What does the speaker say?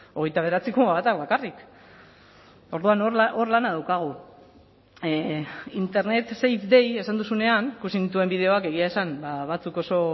hogeita bederatzi koma batak bakarrik orduan hor lana daukagu safer internet day esan duzunean ikusi nituen bideoak egia esan batzuk oso